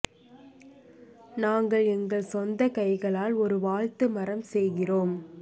நாங்கள் எங்கள் சொந்த கைகளால் ஒரு வாழ்த்து மரம் செய்கிறோம்